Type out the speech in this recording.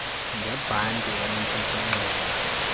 ngebhanti entla kwenxeba